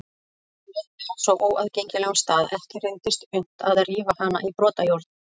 Hún lenti á svo óaðgengilegum stað að ekki reyndist unnt að rífa hana í brotajárn.